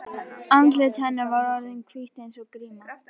Andlit hennar var orðið hvítt eins og gríma.